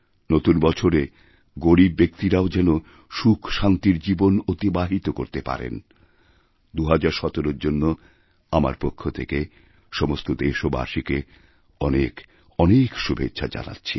নতুন বছরে গরীব ব্যক্তিরাও যেন সুখশান্তির জীবন অতিবাহিতকরতে পারেন ২০১৭র জন্য আমার পক্ষ থেকে সমস্ত দেশবাসীকে অনেক অনেক শুভেচ্ছাজানাচ্ছি